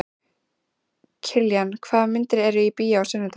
Kiljan, hvaða myndir eru í bíó á sunnudaginn?